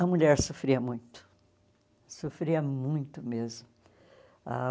A mulher sofria muito, sofria muito mesmo ah.